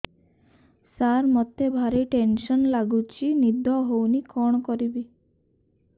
ସାର ମତେ ଭାରି ଟେନ୍ସନ୍ ଲାଗୁଚି ନିଦ ହଉନି କଣ କରିବି